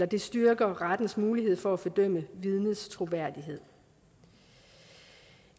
det styrker rettens mulighed for at bedømme vidnets troværdighed